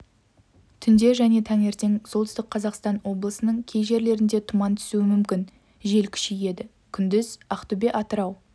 түнде және таңертең солтүстік қазақстан облысының кей жерлерінде тұман түсуі мүмкін жел күшейеді күндіз ақтөбе атырау